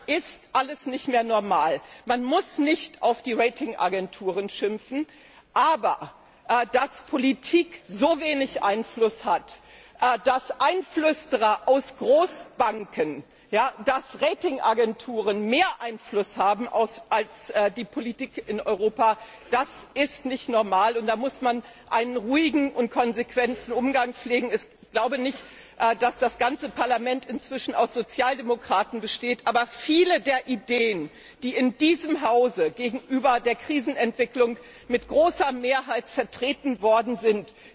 Das ist alles nicht mehr normal. Man muss nicht auf die Rating Agenturen schimpfen, aber dass Politik so wenig Einfluss hat, dass Einflüsterer aus Großbanken, dass Rating Agenturen mehr Einfluss haben als die Politik in Europa, das ist nicht normal, und da muss man einen ruhigen und konsequenten Umgang pflegen. Ich glaube nicht, dass das ganze Parlament inzwischen aus Sozialdemokraten besteht, aber viele der Ideen, die in diesem Hause gegenüber der Krisenentwicklung mit großer Mehrheit vertreten worden sind,